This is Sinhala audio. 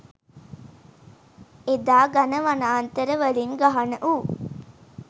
එදා ඝණ වනාන්තර වලින් ගහනවූ